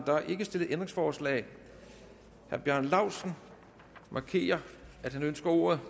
der er ikke stillet ændringsforslag herre bjarne laustsen markerer at han ønsker ordet